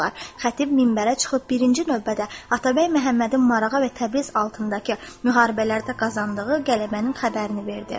Xətib minbərə çıxıb birinci növbədə Atabəy Məhəmmədin Marağa və Təbriz altındakı müharibələrdə qazandığı qələbənin xəbərini verdi.